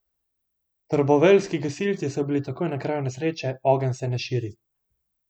Trboveljski gasilci so bili takoj na kraju nesreče, ogenj se ne širi.